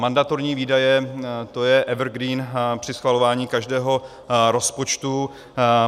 Mandatorní výdaje, to je evergreen při schvalování každého rozpočtu.